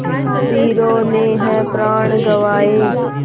वीरों ने है प्राण गँवाए